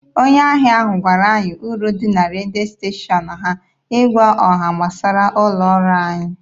Onye ahịa ahụ gwara anyị uru dị na redio steshọn ha ịgwa ọha gbasara ụlọ ọrụ anyị.